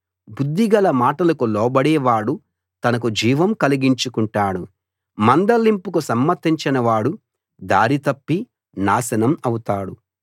బుద్ధిగల మాటలకు లోబడేవాడు తనకు జీవం కలిగించుకుంటాడు మందలింపుకు సమ్మతించని వాడు దారి తప్పి నాశనం అవుతాడు